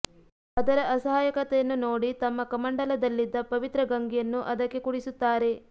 ಅದರ ಅಸಹಾಯಕತೆಯನ್ನು ನೋಡಿ ತಮ್ಮ ಕಮಂಡಲದಲ್ಲಿದ್ದ ಪವಿತ್ರ ಗಂಗೆಯನ್ನು ಅದಕ್ಕೆ ಕುಡಿಸುತ್ತಾರೆ